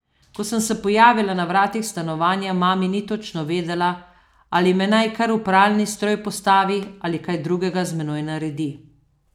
Ko sem se pojavila na vratih stanovanja, mami ni točno vedela, ali me naj kar v pralni stroj postavi ali kaj drugega z menoj naredi.